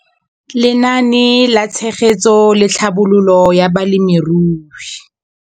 Lenaane la Tshegetso le Tlhabololo ya Balemirui.